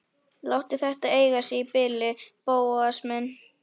Láttu þetta eiga sig í bili, Bóas minn.